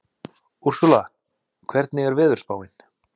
Úrsúla, hvernig er veðurspáin?